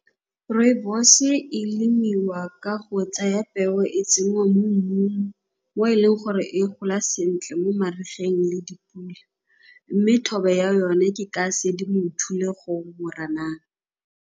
Rooibos-e e lemiwa ka go tsaya peo e tsenngwa mo mmung o eleng gore e gola sentle mo marigeng le dipula mme thobo ya yone ke ka Sedimonthole gongwe Moranang.